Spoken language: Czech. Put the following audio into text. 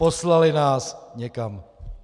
Poslali nás někam!